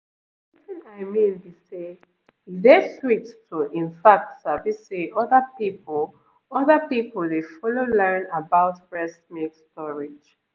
wetin i mean be say e dey sweet to in fact sabi say other people other people dey follow learn about breast milk storage